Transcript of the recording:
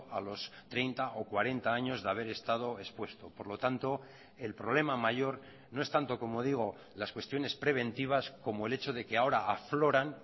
a los treinta o cuarenta años de haber estado expuesto por lo tanto el problema mayor no es tanto como digo las cuestiones preventivas como el hecho de que ahora afloran